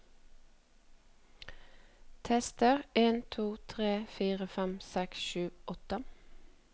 Tester en to tre fire fem seks sju åtte